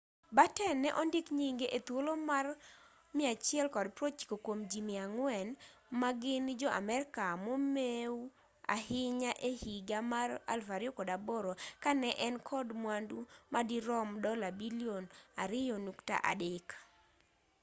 batten ne ondik nyinge e thuolo mar 190 kuom ji 400 ma gin jo-amerka momeu ahinya e higa mar 2008 ka ne en kod mwandu ma dirom dola bilion $2.3